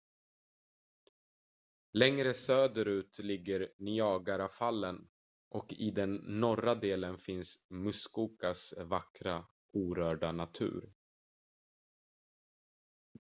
längre söderut ligger niagarafallen och i den norra delen finns muskokas vackra orörda natur